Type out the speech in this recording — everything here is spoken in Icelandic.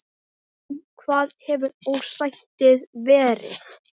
Um hvað hefur ósættið verið?